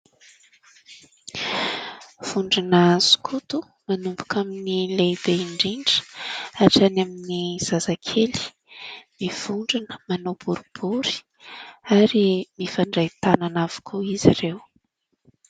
Vondrona sokoto manomboka amin'ny lehibe indrindra hatrany amin'ny zazakely, mivondrona manao boribory ary mifandray tanana avokoa izy ireo.